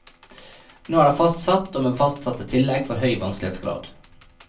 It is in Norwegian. Nå er det fastsatt, og med fastsatte tillegg for høy vanskelighetsgrad.